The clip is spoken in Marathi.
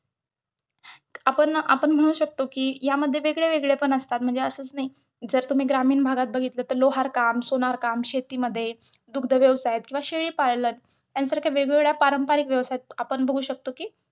आपण आपण म्हणू शकतो कि या मध्ये वेगवेगळे पण असतात म्हणजे असच नाही. जर तुम्ही ग्रामीण भागात बघितलं तर लोहारकाम, सोनारकाम, शेतीमध्ये, दुग्ध व्यवसाय किंवा शेळी पालन यासारख्या वेगवेगळ्या पारंपरिक व्यवसायात आपण बघू शकतो कि,